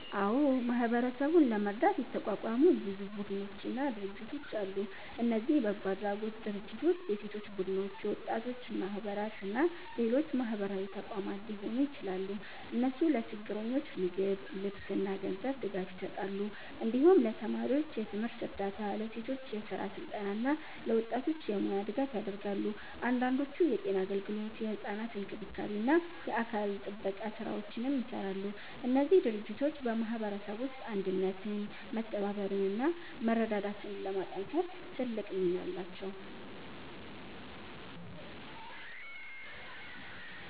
አዎ፣ ማህበረሰቡን ለመርዳት የተቋቋሙ ብዙ ቡድኖችና ድርጅቶች አሉ። እነዚህ በጎ አድራጎት ድርጅቶች፣ የሴቶች ቡድኖች፣ የወጣቶች ማህበራት እና ሌሎች ማህበራዊ ተቋማት ሊሆኑ ይችላሉ። እነሱ ለችግረኞች ምግብ፣ ልብስ እና ገንዘብ ድጋፍ ይሰጣሉ። እንዲሁም ለተማሪዎች የትምህርት እርዳታ፣ ለሴቶች የስራ ስልጠና እና ለወጣቶች የሙያ ድጋፍ ያደርጋሉ። አንዳንዶቹ የጤና አገልግሎት፣ የሕፃናት እንክብካቤ እና የአካባቢ ጥበቃ ስራዎችንም ይሰራሉ። እነዚህ ድርጅቶች በማህበረሰቡ ውስጥ አንድነትን፣ መተባበርን እና መረዳዳትን ለማጠናከር ትልቅ ሚና አላቸው።